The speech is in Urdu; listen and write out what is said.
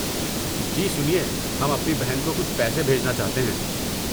جی سنیے، ہم اپنی بہن کو کچھ پیسے بھیجنا چاہتے ہیں۔